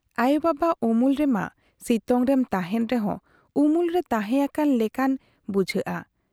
ᱟᱭᱚ ᱵᱟᱵᱟ ᱩᱢᱩᱞ ᱨᱮ ᱢᱟ ᱥᱤᱛᱩᱝᱨᱮᱢ ᱛᱟᱦᱮᱸᱱ ᱨᱮᱦᱚᱸ ᱩᱢᱩᱞ ᱨᱮ ᱛᱟᱦᱮᱸ ᱟᱠᱟᱱ ᱞᱮᱠᱟᱱ ᱵᱩᱡᱷᱟᱹᱣᱜ ᱟ ᱾